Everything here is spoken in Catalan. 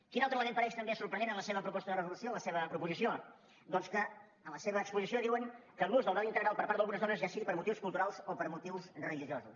quin altre element apareix també sorprenent en la seva proposta de resolució en la seva proposició doncs que en la seva exposició diuen l’ús del vel integral per part d’algunes dones ja sigui per motius culturals o per motius religiosos